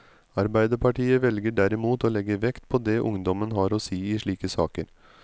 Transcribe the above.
Arbeiderpartiet velger derimot å legge vekt på det ungdommen har å si i slike saker.